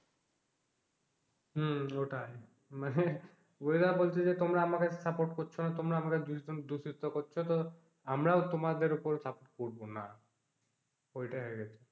হম ওটাই, মানে weather বলছে যে তোমরা আমাকে support করছো না তোমরা আমাকে দূষিত করছো তো আমরাও তোমাদের কোনো support করবো না, ওটাই হয়ে গেছে।